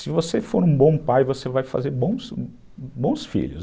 Se você for um bom pai, você vai fazer bons filhos.